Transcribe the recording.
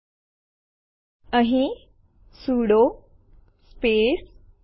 જો તે પહેલાથી જ અસ્તિત્વમાં હોય તો પછી તે ફરીથી લખશે એટલે કે ઓવર રાઇત થશે